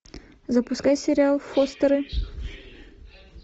запускай сериал фостеры